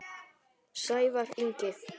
Sævar Ingi.